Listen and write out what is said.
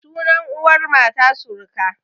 Sunan uwar mata suruka